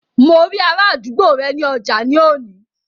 Mo rí ará àdúgbò rẹ ní ọjà ní òní